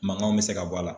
Mankanw bɛ se ka bɔ a la